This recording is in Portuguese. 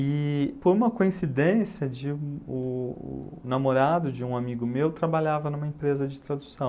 E por uma coincidência, de o o namorado de um amigo meu trabalhava numa empresa de tradução.